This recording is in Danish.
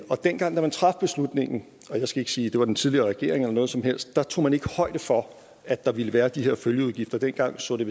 og dengang da man traf beslutningen og jeg skal ikke sige at det var den tidligere regeringen eller noget som helst tog man ikke højde for at der ville være de her følgeudgifter dengang så det